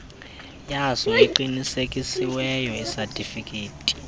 yaso eqinisekisiweyo isatifiketi